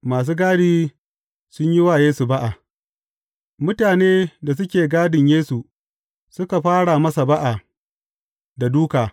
Masu gadi sun yi wa Yesu ba’a Mutanen da suke gadin Yesu suka fara masa ba’a da dūka.